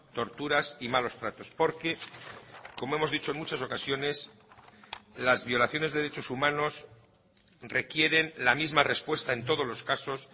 torturas y malos tratos porque como hemos dicho en muchas ocasiones las violaciones de derechos humanos requieren la misma respuesta en todos los casos